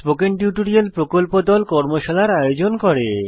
spoken tutorial প্রকল্প দল কর্মশালার আয়োজন করে